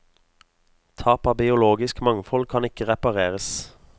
Tap av biologisk mangfold kan ikke repareres.